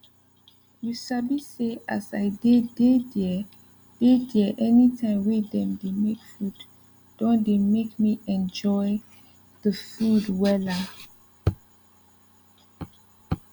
you sabi say as i dey dey there dey there anytime wey dem dey make food don dey make me enjoy the food wella